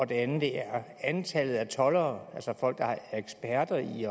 det andet er antallet af toldere altså folk der er eksperter i